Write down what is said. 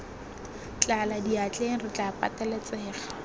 tlala diatleng re tla pateletsega